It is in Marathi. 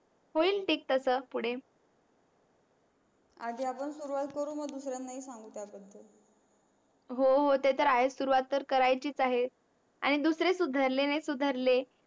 होईल ठीक तस पुडे आधी आपण सुरवात करू मग दुसऱ्याना हि सांगू त्या बदल हो हो ते तर आहे सुरवात तर करायचीच आहे. आणि दुसरे सुधरले नाही सुधरले